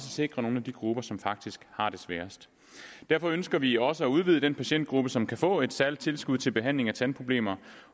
sikre nogle af de grupper som faktisk har det sværest derfor ønsker vi også at udvide den patientgruppe som kan få et særligt tilskud til behandling af tandproblemer